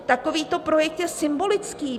Takovýto projekt je symbolický.